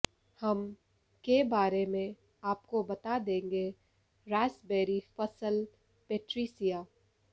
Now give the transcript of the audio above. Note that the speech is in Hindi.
हम के बारे में आपको बता देंगे रास्पबेरी फसल पेट्रीसिया